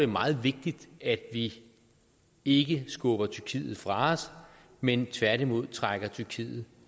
meget vigtigt at vi ikke skubber tyrkiet fra os men tværtimod trækker tyrkiet